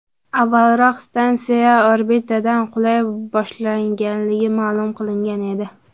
Avvalroq stansiya orbitadan qulay boshlaganligi ma’lum qilingan edi.